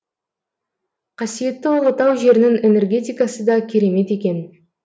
қасиетті ұлытау жерінің энергетикасы да керемет екен